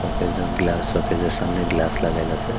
একজন গ্লাস শৌকেজের সামনে গ্লাস লাগাইতাসে।